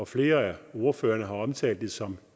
flere af ordførerne har omtalt som